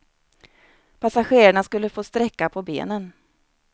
Passagerarna skulle få sträcka på benen.